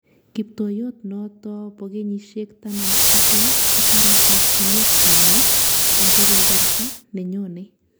Kiptoyot noton bokenyisiek taman ak lo kotare kasyinet nenyin en kebeberta nenyone